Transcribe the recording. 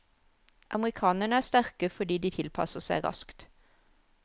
Amerikanerne er sterke fordi de tilpasser seg raskt.